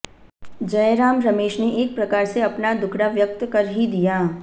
जयराम रमेश ने एक प्रकार से अपना दुखड़ा व्यक्त कर ही दिया